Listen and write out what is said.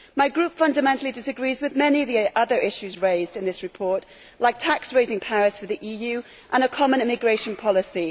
My group fundamentally disagrees with many of the other issues raised in this report, like tax raising powers for the EU and a common immigration policy.